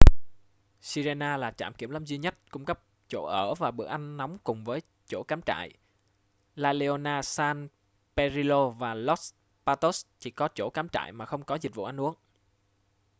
sirena là trạm kiểm lâm duy nhất cung cấp chỗ ở và bữa ăn nóng cùng với chỗ cắm trại la leona san pedrillo và los patos chỉ có chỗ cắm trại mà không có dịch vụ ăn uống